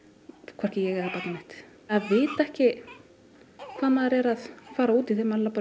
hvorki ég eða barnið mitt að vita ekki hvað maður er að fara út í þegar maður labbar